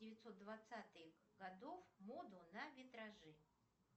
девятьсот двадцатых годов моду на витражи